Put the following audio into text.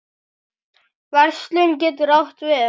Verslun getur átt við